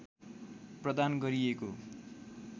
प्रदान गरिएको